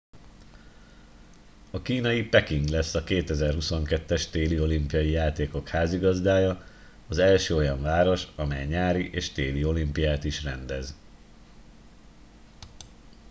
a kínai peking lesz a 2022 es téli olimpiai játékok házigazdája az első olyan város amely nyári és téli olimpiát is rendez